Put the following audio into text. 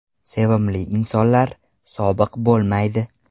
Sevimli insonlar ‘sobiq’ bo‘lmaydi.